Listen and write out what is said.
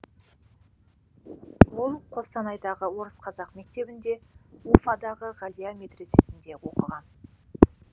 ол қостанайдағы орыс қазақ мектебінде уфадағы ғалия медресесінде оқыған